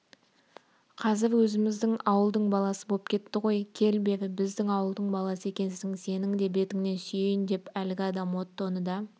қазір өзіміздің ауылдың баласы боп кетті ғой кел бері біздің ауылдың баласы екенсің сенің де бетіңнен сүйейін деп әлгі адам оттоны да